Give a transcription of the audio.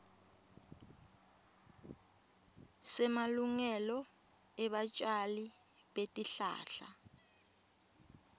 semalungelo ebatjali betihlahla